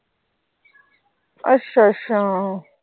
ਅੱਛਾ ਅੱਛਾ।